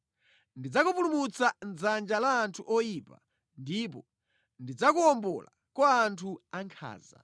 “Ndidzakupulumutsa mʼdzanja la anthu oyipa ndipo ndidzakuwombola kwa anthu ankhanza.”